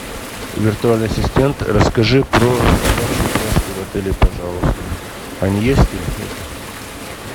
виртуальный ассистент расскажи про собачьи упряжки в отеле пожалуйста они есть или нет